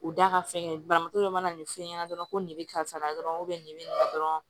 U da ka fɛngɛ banabatɔ dɔ mana nin fɛn ɲɛna dɔrɔn ko nin bɛ karisa la dɔrɔn nin bɛ nin dɔrɔn